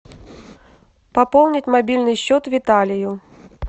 пополнить мобильный счет виталию